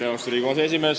Austatud Riigikogu aseesimees!